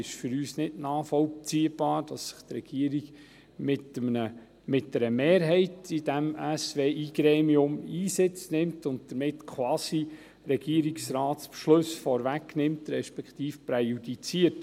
Es ist für uns nicht nachvollziehbar, dass die Regierung mit einer Mehrheit in dieser Strategiegruppe Weiterentwicklung Inselareal (SWI) Einsitz nimmt und damit quasi Regierungsratsbeschlüsse vorwegnimmt beziehungsweise präjudiziert.